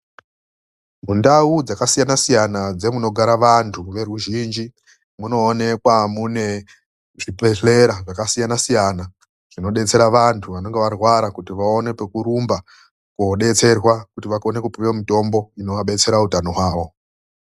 Mundau dzakasiyana siyana dzemunogara vandu veruzhinji . Munoonekwa mune zvibhedhlera zvakasiyana- siyana zvinodetsera vantu vanenge varwara kuti vaone pekurumba kodetserwa kuti vakone kupihwa mitombo inovabetsera hutano hwavo.